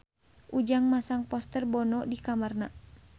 Ujang masang poster Bono di kamarna